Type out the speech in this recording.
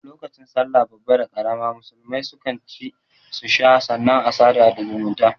Lokacin sallah babba da karama musulmai su kan ci su sha sannan a sada da zumunta